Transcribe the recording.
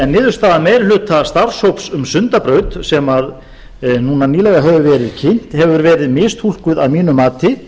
en niðurstaða meiri hluta starfshóps um sundabraut sem núna nýlega hefur verið kynnt hefur verið mistúlkuð að mínu mati